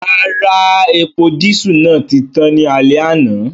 Rara, epo disu naa ti tan ni alẹ ana.